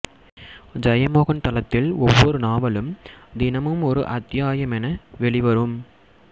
ஜெயமோகன் தளத்தில் ஒவ்வொரு நாவலும் தினமும் ஒரு அத்தியாயமென வெளிவரும்